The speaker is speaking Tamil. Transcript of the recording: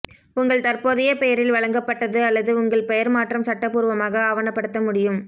உங்கள் தற்போதைய பெயரில் வழங்கப்பட்டது அல்லது உங்கள் பெயர் மாற்றம் சட்டப்பூர்வமாக ஆவணப்படுத்த முடியும்